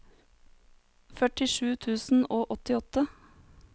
førtisju tusen og åttiåtte